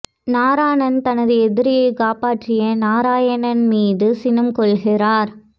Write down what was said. நாராணன் தனது எதிரியைக் காப்பாற்றிய நாராயணன் மீது சினம் கொள்கிறார்